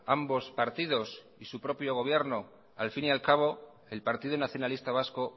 ambos partidos y su propio gobierno al fin y al cabo el partido nacionalista vasco